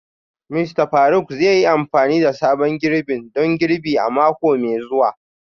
Mista Faruk zai yi amfani da sabon girbin don girbi a mako mai zuwa